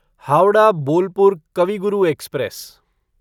Howrah Bolpur Kavi Guru express